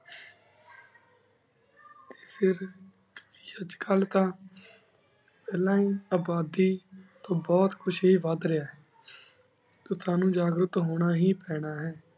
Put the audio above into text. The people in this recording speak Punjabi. ਫਿਰ ਅਜੇ ਕਲ ਤਾਂ ਫਲਾਂ ਆਬਾਦੀ ਬੁਹਤ ਕੁਛ ਵੇਦਾ ਰਿਹਾ ਆਯ ਟੀ ਸਾਨੂ ਉਜਾਘ੍ਰਟ ਹੁਣ ਹੇ ਪਾਨਾ ਆਯ